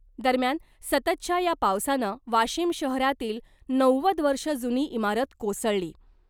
दरम्यान सततच्या या पावसानं वाशिम शहरातील नव्वद वर्ष जुनी इमारत कोसळली .